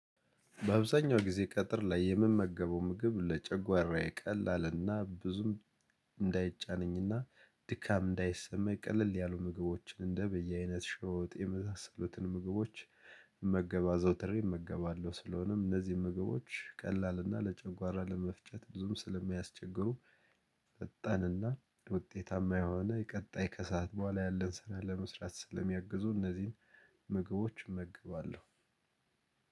በአብዛኛው ጊዜ ቀትር ላይ የምመገበው ምግብ ለጨጓራዬ ቀላልና ብዙም እንዳይጫነኝና ድካም እንዳይሰማኝ ቀለል ያሉ ምግቦችን እንደ በየአይነት ሸሮ ወጥ የመሳሰሉትን ምግቦች መገባ አዘውተሬ እመገባለሁ። ስለሆነም እነዚህ ምግቦች ቀላል እና ለጨጓራ ለመፍጨት ብዙም ስለማያስቸግሩ ፈጣንና ውጤታማ የሆነ የቀጣይ ከሰአት በኋላ ያለን ስራ ለመስራት ስለሚያግዙ እነዚህን ምግቦች እመገባለሁ።